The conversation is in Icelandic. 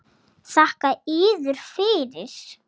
Þakka yður fyrir.